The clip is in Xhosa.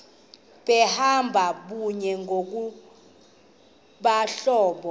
behamba kunye ngokwabahlobo